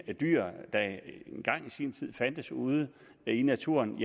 dyr der engang i sin tid fandtes ude i naturen